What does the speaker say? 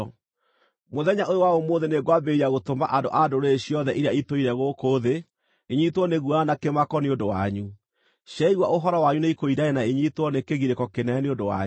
Mũthenya ũyũ wa ũmũthĩ nĩngwambĩrĩria gũtũma andũ a ndũrĩrĩ ciothe iria itũire gũkũ thĩ inyiitwo nĩ guoya na kĩmako nĩ ũndũ wanyu. Ciaigua ũhoro wanyu nĩikũinaina na inyiitwo nĩ kĩgirĩko kĩnene nĩ ũndũ wanyu.”